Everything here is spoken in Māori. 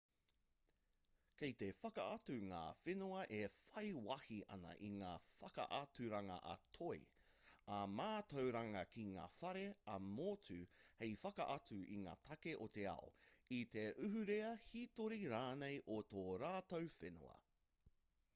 kei te whakaatu ngā whenua e whai wāhi ana i ngā whakaaturanga ā-toi ā-mātauranga ki ngā whare ā-motu hei whakaatu i ngā take o te ao i te ahurea hītori rānei o tō rātou whenua